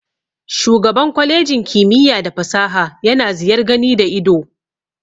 Shugaban kwalejin kimiyya da fasaha yana ziyar gani da ido.